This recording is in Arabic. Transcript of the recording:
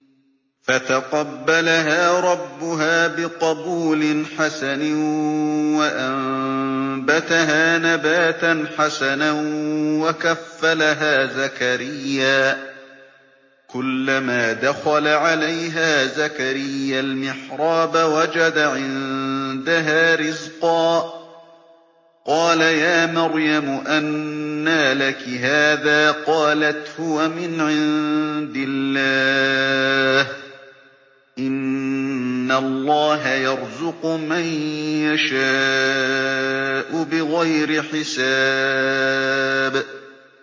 فَتَقَبَّلَهَا رَبُّهَا بِقَبُولٍ حَسَنٍ وَأَنبَتَهَا نَبَاتًا حَسَنًا وَكَفَّلَهَا زَكَرِيَّا ۖ كُلَّمَا دَخَلَ عَلَيْهَا زَكَرِيَّا الْمِحْرَابَ وَجَدَ عِندَهَا رِزْقًا ۖ قَالَ يَا مَرْيَمُ أَنَّىٰ لَكِ هَٰذَا ۖ قَالَتْ هُوَ مِنْ عِندِ اللَّهِ ۖ إِنَّ اللَّهَ يَرْزُقُ مَن يَشَاءُ بِغَيْرِ حِسَابٍ